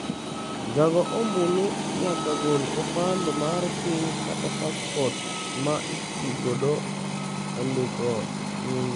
Jago ombulu nyaka gol opande mar piny kata paspot ma otigodo e ndiko nyinge.